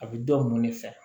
A bɛ dɔ mun ne fɛ